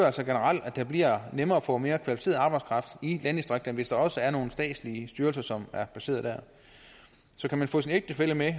altså generelt at det bliver nemmere at få mere kvalificeret arbejdskraft i landdistrikterne hvis der også er nogle statslige styrelser som er placeret der så kan man få sin ægtefælle med